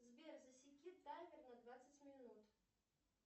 сбер засеки таймер на двадцать минут